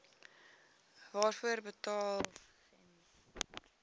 waarvoor betaal gems